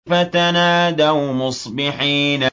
فَتَنَادَوْا مُصْبِحِينَ